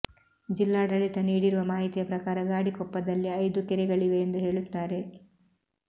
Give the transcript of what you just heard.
ಜಿಲ್ಲಾಡಳಿತ ನೀಡಿರುವ ಮಾಹಿತಿಯ ಪ್ರಕಾರ ಗಾಡಿಕೊಪ್ಪದಲ್ಲಿ ಐದು ಕೆರೆಗಳಿವೆ ಎಂದು ಹೇಳುತ್ತಾರೆ